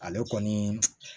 Ale kɔni